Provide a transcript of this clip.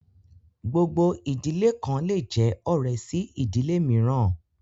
Gbogbo ìdílé kan le jẹ ọ̀rẹ́ sí ìdílé mìíràn